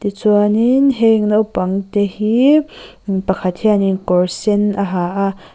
chuanin heng naupangte hi mi pakhat hianin kawr sen a ha a.